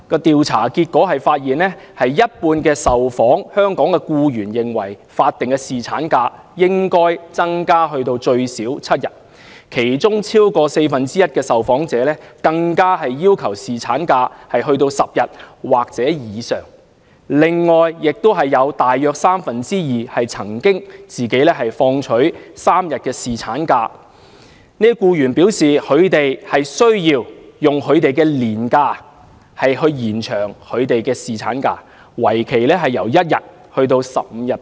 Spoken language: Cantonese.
調查結果顯示，一半受訪香港僱員認為，法定侍產假應該增至最少7天，當中超過四分之一受訪者更要求侍產假增至10天或以上。此外，有約三分之二曾放取3天侍產假的僱員表示，他們需要使用自己的年假來延長侍產假，為期1天至15天不等。